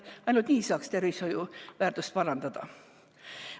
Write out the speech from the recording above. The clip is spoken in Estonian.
Ainult nii saaks tervishoiu väärtust parandada.